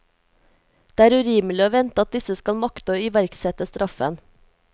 Det er urimelig å vente at disse skal makte å iverksette straffen.